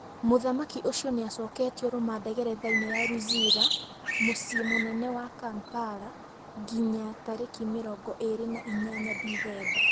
Muthamaki ũcu nĩacoketwe rumande gerethainĩ ya Luzira mũciĩ munene wa Kampala ngiya tarĩki mĩrongo ĩĩrĩ na inyanya Dithemba